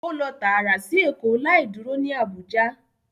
O lọ taara si Eko, lai duro ni Abuja